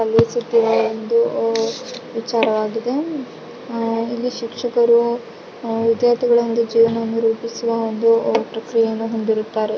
ವಿಚಾರವಾಗಿದೆ ಆಹ್ಹ್ ಇಲ್ಲಿ ಶಿಕ್ಷಕರು ವಿದ್ಯಾರ್ಥಿಗಳ ಒಂದು ಜಿವನವನ್ನ ರೂಪಿಸುವ ಒಂದು ಪ್ರಕ್ರಿಯೆಯನ್ನು ಹೊಂದಿರುತ್ತಾರೆ.